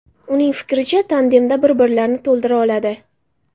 Uning fikricha, tandemda bir-birlarini to‘ldira oladi.